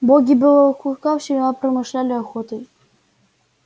боги белого клыка всегда промышляли охотой